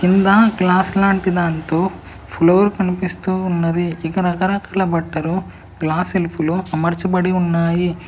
కింద గ్లాస్ లాంటి దాంతో ఫ్లోర్ కనిపిస్తూ ఉన్నది ఇక రకరకాల బట్టలు గ్లాస్ సెల్ఫ్ లో అమర్చబడి ఉన్నాయి.